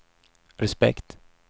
respekt